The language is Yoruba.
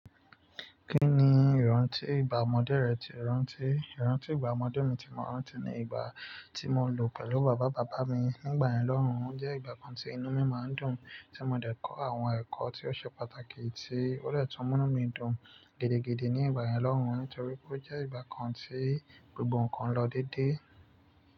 Kí ni ìrántí ìgbà ọmọdé rẹ ti o rántí? Ìrántí ìgbà ọmọdé mi ti mọ rántí ni ìgbà tí mo lò pẹ̀lú bàbá bàbá mi nígbà ìyẹn lọ́hùn, ó jẹ́ ìgbà kan tí inú mi máa ń dùn. Tí mo dẹ̀ kọ́ àwọn ẹ̀kọ́ tí ó ṣe pàtàkì tí ó dè tún mú mí dùn gidigidi ní ìgbà yẹn lọ́hùn, nítorí pé ó jẹ́ ìgbà kan tí gbogbo ǹkan lọ dédé.